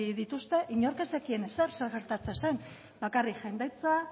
dituzte inork ez zekien ezer zer gertatzen zen bakarrik jendetza